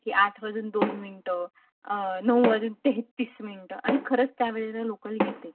की आठ वाजून दोन मिनिट नऊ वाजून तेहतीस मिनिटं आणि खरंच त्या वेळेला लोकल येते.